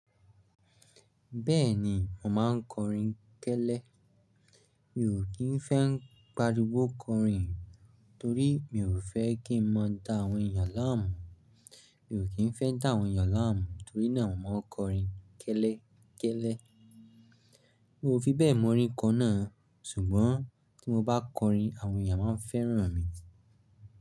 Bẹ́ẹ̀ni, mo máa ń kọrin kẹ́lẹ́. Mi ò kí ń fẹ́ ń pariwo kọrin torí mi ò fẹ́ kí wọ́n dá àwọn èèyàn láàmú. Mi ò kí ń fẹ́ dá àwọn èèyàn láàmú torí náà mo máa ń kọrin kẹ́lẹ́, kẹ́lẹ́. Mi ò fi bẹ́ẹ̀ mọ orin kan náà, ṣùgbọ́n tí mo bá kọrin, àwọn èèyàn máa ń fẹ́ràn mi.